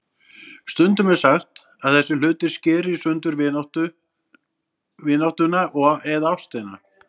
Stundum er sagt að þessir hlutir skeri í sundur vináttuna eða ástina.